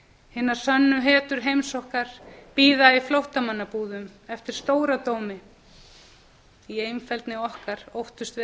hinar sönnu hetjur heims okkar bíða í flóttamannabúðum eftir stóradómi í einfeldni okkar óttumst við